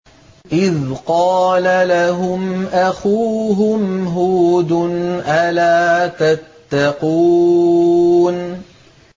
إِذْ قَالَ لَهُمْ أَخُوهُمْ هُودٌ أَلَا تَتَّقُونَ